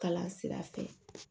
Kalan sira fɛ